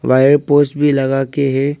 Wire poles भी लगा के है।